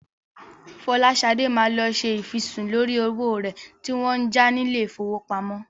Fọláṣadé máa lọ ṣe ìfisùn lórí owó rẹ̀ tí wọ́n ń já ní ilé-ìfowópamọ́.